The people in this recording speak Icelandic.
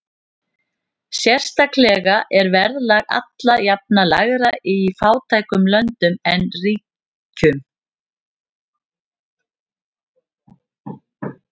Sérstaklega er verðlag alla jafna lægra í fátækum löndum en ríkum.